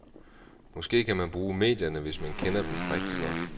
Måske kan man bruge medierne, hvis man kender dem rigtig godt.